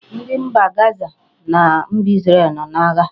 Ndi mba Gaza na mba Isreal no na-agha